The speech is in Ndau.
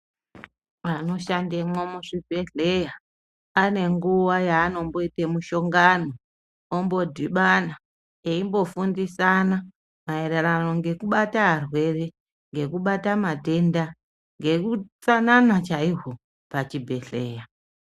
Vanoshandemwo muzvibhehleya ane nguva yaanomboite mushongano ombodibana eimbofundisana maererano nekubata arwere, nekubata matenda ,neutsanana chaihwo pachibhehleya.